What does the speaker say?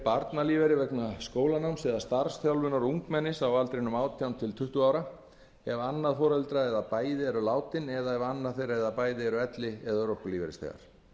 barnalífeyri vegna skólanáms eða starfsþjálfunar ungmennis á aldrinum átján til tuttugu ára ef annað foreldri eða bæði eru látin eða ef annað þeirra eða bæði eru elli eða örorkulífeyrisþegar